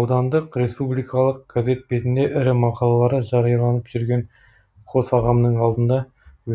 аудандық республикалық газет бетінде ірі мақалалары жарияланып жүрген қос ағамның алдында